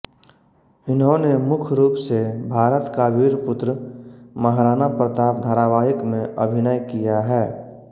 इन्होंने मुख रूप से भारत का वीर पुत्र महाराणा प्रताप धारावाहिक में अभिनय किया है